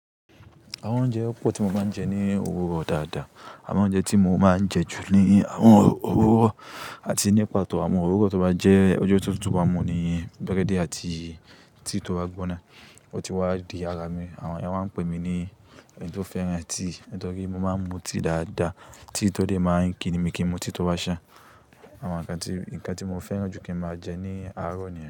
Àwọn oúnjẹ pọ̀ tí mo máa ń jẹ ní òwúrọ̀ dáadáa. Àwọn oúnjẹ tí mo máa ń jẹ jù ní àwọn òwúrọ̀ àti ní pàtó àwọn òwúrọ̀ tó bá jẹ́ ọjọ́ tó tútù wa mu ni búrẹ́dì àti tíì tó bá gbóná. Ó ti wá di ara mi. Àwọn ènìyàn máa ń pè mí ní ẹni tó fẹ́ràn tíì, nítorí mo máa ń mu tíì dáadáa. Tíì tó dẹ̀ ma ń kí ni mi kí n mu tíì tí ó bá ṣán àwọn nǹkan tí, nǹkan tí mo fẹ́ràn jù kí ń máa jẹ ní àárọ̀ nìyẹn.